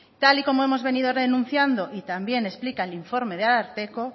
tal y como hemos venido denunciando y también explica el informe del ararteko